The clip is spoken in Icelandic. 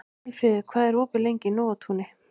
Aðalfríður, hvað er opið lengi í Nóatúni?